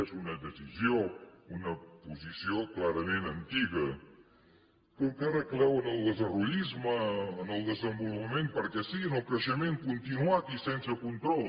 és una decisió una posició clarament antiga que encara creu en el desarrollisme en el desenvolupament perquè sí en el creixement continuat i sense control